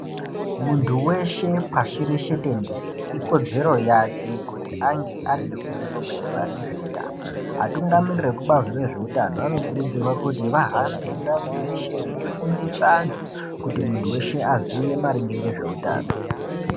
Muntu weshe pashi reshe tenderere ikodzero yake kuti ange ane ruzivo maererano nzveutano. Akuru evekubazi rezveutano anokurudzirwa kuti vahambe ndau dzeshe veifundisa antu kuti muntu weshe aziye maringe ngezveutano.